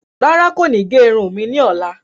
Rárá, kò ni ge irun e ní ọ̀la